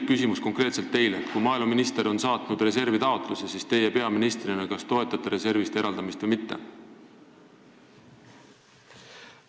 Küsimus konkreetselt teile: kui maaeluminister on saatnud reservitaotluse, siis kas teie peaministrina toetate reservist eraldamist või mitte?